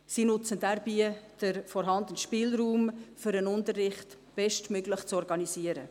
Sie nutzen dabei den vorhandenen Spielraum, um den Unterricht bestmöglich zu organisieren.